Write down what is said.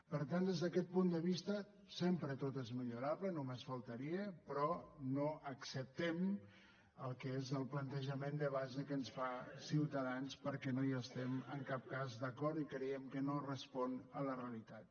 per tant des d’aquest punt de vista sempre tot és millorable només faltaria però no acceptem el que és el plantejament de base que ens fa ciutadans perquè no hi estem en cap cas d’acord i creiem que no respon a la realitat